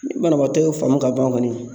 Ni banabaatɔ y'o faamu ka ban kɔni.